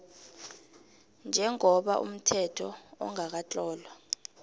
njengoba umthetho ongakatlolwa